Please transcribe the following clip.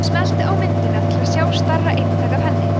smelltu á myndina til að sjá stærra eintak af henni